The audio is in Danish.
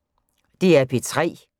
DR P3